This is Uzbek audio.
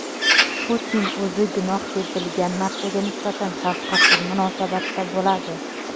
Putin o‘zi gunoh deb bilgan narsaga nisbatan shafqatsiz munosabatda bo‘ladi.